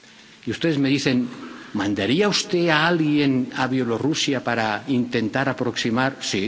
Y ustedes me dicen ¿mandaría usted a alguien a Bielorrusia para intentar aproximar posiciones?